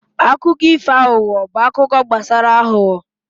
akụkọ ifo aghụghọ bụ akụkọ gbasara aghụghọ